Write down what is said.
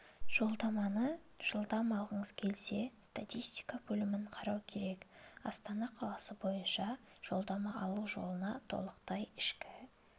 жолдаманы жылдам алғыңыз келсе статистика бөлімін қарау керек астана қаласы бойынша жолдама алу жолына тоқталайық ішкі